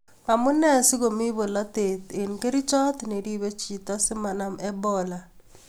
Amunee sigomii bolotet eng kerchot neribe chito simanam Ebola?